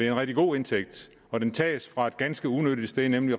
en rigtig god indtægt og den tages fra et ganske unyttigt sted nemlig